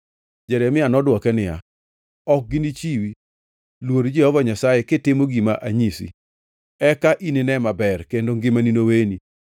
Jeremia nodwoke niya, “Ok ginichiwi.” Luor Jehova Nyasaye kitimo gima anyisi. Eka inine maber, kendo ngimani noweni.